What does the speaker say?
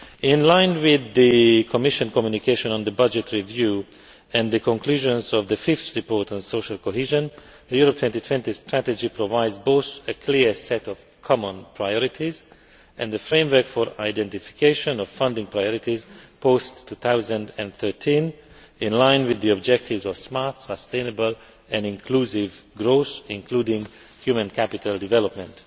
In line with the Commission communication on the budget review and the conclusions of the fifth report on social cohesion, the Europe 2020 Strategy provides both a clear set of common priorities and the framework for identification of funding priorities post 2013 in line with the objectives of smart, sustainable and inclusive growth, including human capital development.